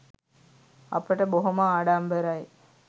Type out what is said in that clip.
අපට බොහොම ආඩම්බරයි”